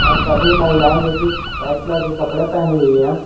और सभी महिलाएं जो की वाइट कलर के कपड़े पहनी हुई है।